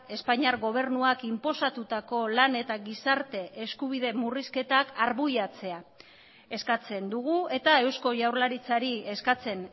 espainiar gobernuak inposatutako lan eta gizarte eskubide murrizketak arbuiatzea eskatzen dugu eta eusko jaurlaritzari eskatzen